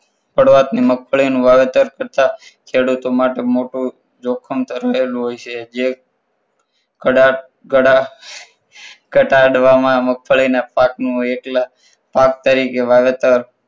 પડવાથી મગફળીનું વાવેતર કરતા ખેડૂતો માટે મોટું જોખમ થયેલું હોય છે જ કડા કડા ઘટાડવામાં મગફળીના પાક નું એકલા પાક તરીકે વાવેતર